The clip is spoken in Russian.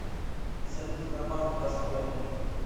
салют сбербанк достойный